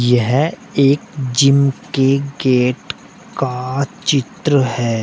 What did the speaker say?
यह एक जिम के गेट का चित्र है।